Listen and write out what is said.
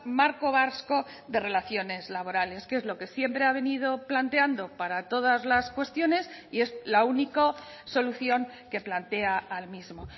marco vasco de relaciones laborales que es lo que siempre ha venido planteando para todas las cuestiones y es la única solución que plantea al mismo